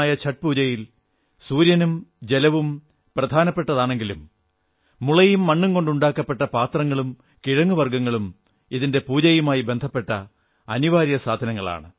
ഛഠ് പൂജയിൽ സൂര്യനും ജലവും പ്രധാനപ്പെട്ടവയാണെങ്കിലും മുളയും മണ്ണും കൊണ്ടുണ്ടാക്കപ്പെട്ട പാത്രങ്ങളും കിഴങ്ങുവർഗ്ഗങ്ങളും ഇതിന്റെ പൂജയുമായി ബന്ധപ്പെട്ട അനിവാര്യവസ്തുളാണ്